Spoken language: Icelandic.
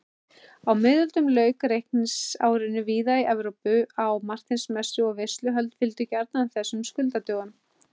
Á miðöldum lauk reikningsárinu víða í Evrópu á Marteinsmessu og veisluhöld fylgdu gjarnan þessum skuldadögum.